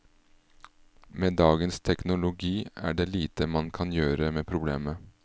Med dagens teknologi er det lite man kan gjøre med problemet.